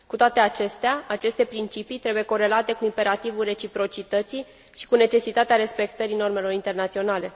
Cu toate acestea, aceste principii trebuie corelate cu imperativul reciprocității și cu necesitatea respectării normelor internaționale.